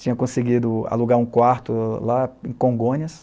Tinha conseguido alugar um quarto lá em Congonhas,